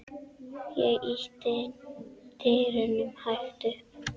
Ég ýtti dyrunum hægt upp.